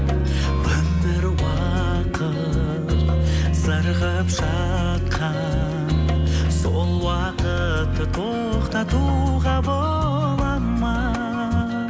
өмір уақыт зырғып жатқан сол уақытты тоқтатуға болады ма